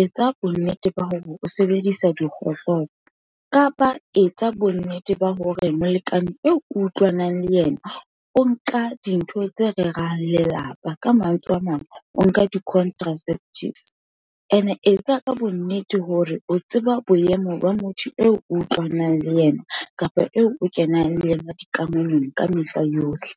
etsa bonnete ba hore o sebedisa dikgohlopo, kapa etsa bonnete ba hore molekane eo ke utlwanang le yena, o nka dintho tse rerang lelapa. Ka mantswe a mang, o nka di-contraceptives, ene e etsa ka bonnete hore o tseba boemo ba motho eo utlwanang le yena, kapa eo o kenang le yona dikamanong ka mehla yohle.